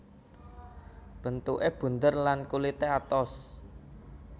Bentuké bunder lan kulité atos